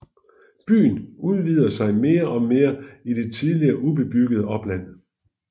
Byen udvider sig mere og mere i det tidligere ubebyggede opland